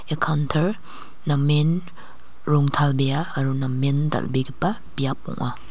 ia kaunter namen rongtalbea aro namen dal·begipa biap ong·a.